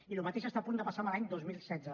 i el mateix està a punt de passar l’any dos mil setze